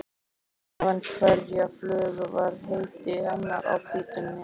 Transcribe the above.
Fyrir neðan hverja flugu var heiti hennar á hvítum miða.